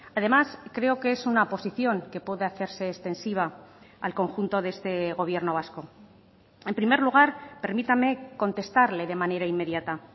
además creo que es una posición que puede hacerse extensiva al conjunto de este gobierno vasco en primer lugar permítame contestarle de manera inmediata